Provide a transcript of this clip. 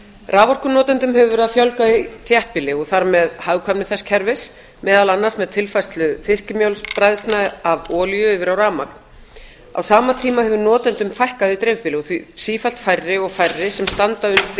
raforkunotendum hefur verið að fjölga í þéttbýli og þar með hagkvæmni þess kerfis meðal annars með tilfærslu fiskimjölsbræðslna af olíu yfir á rafmagn á sama tíma hefur notendum fækkað í dreifbýli því sífellt færri og færri sem standa undir